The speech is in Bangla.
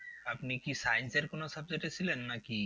আপনি কি science এর কোনো subject এ ছিলেন নাকি?